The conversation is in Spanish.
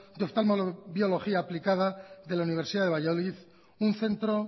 de oftalmobiología aplicada de la universidad de valladolid un centro